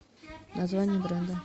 название бренда